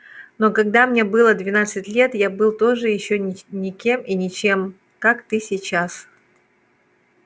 но когда мне было двенадцать лет я был тоже ещё никем и ничем как ты сейчас